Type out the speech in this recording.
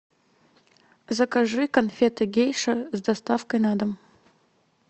закажи конфеты гейша с доставкой на дом